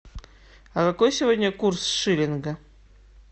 а какой сегодня курс шиллинга